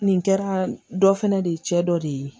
Nin kɛra dɔ fɛnɛ de ye cɛ dɔ de ye